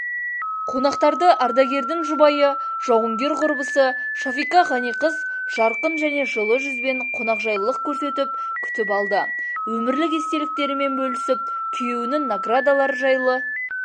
қонақтарды ардагердің жұбайы жауынгер құрбысы шафика ғаниқыз жарқын және жылы жүзбен қонақжайлылық көрсетіп күтіп алды өмірлік естеліктерімен бөлісіп күйеуінің наградалары жайлы